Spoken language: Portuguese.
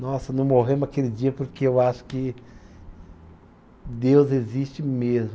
Nossa, não morremos aquele dia porque eu acho que Deus existe mesmo.